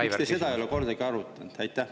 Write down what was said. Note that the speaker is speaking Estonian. Miks te seda ei ole kordagi arutanud?